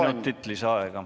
Kolm minutit lisaaega.